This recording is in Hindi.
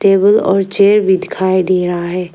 टेबल और चेयर भी दिखाई दे रहा है।